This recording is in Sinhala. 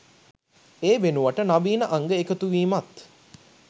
ඒ වෙනුවට නවීන අංග එකතුවීමත්